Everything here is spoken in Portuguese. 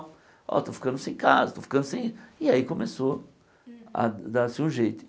Ó, estou ficando sem casa, estou ficando sem... E aí começou a dar-se um jeito.